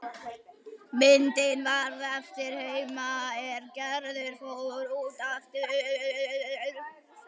Myndin varð eftir heima er Gerður fór út aftur.